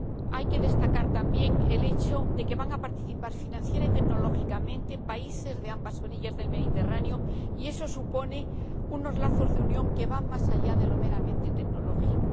Hay que destacar también el hecho de que van a participar financiera y tecnológicamente países de ambas orillas del Mediterráneo, y eso supone unos lazos de unión que van más allá de lo meramente tecnológico.